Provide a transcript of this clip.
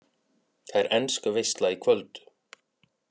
Það er ensk veisla í kvöld